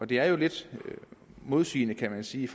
det er jo lidt i modstrid kan man sige